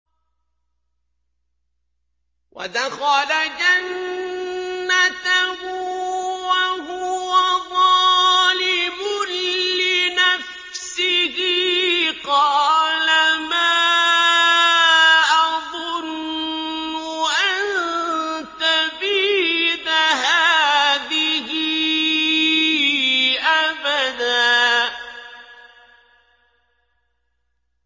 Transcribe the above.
وَدَخَلَ جَنَّتَهُ وَهُوَ ظَالِمٌ لِّنَفْسِهِ قَالَ مَا أَظُنُّ أَن تَبِيدَ هَٰذِهِ أَبَدًا